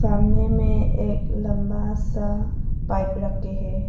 सामने में एक लंबा सा पाइप रखे हैं।